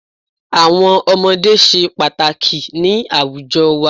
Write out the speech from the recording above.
Àwọn ọmọdé se pàtàkì ni àwùjo wa